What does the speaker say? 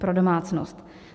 Pro domácnost.